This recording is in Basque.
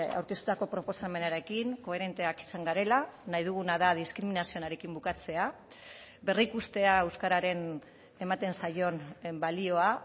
aurkeztutako proposamenarekin koherenteak izan garela nahi duguna da diskriminazioarekin bukatzea berrikustea euskararen ematen zaion balioa